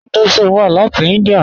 Hinduism wà láti India.